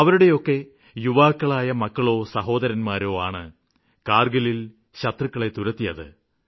അവരുടെയൊക്കെ യുവാക്കളായ മക്കളോ സഹോദരന്മാരോ ആണ് കാര്ഗിലില് ശത്രുക്കളെ തുരത്തിയത്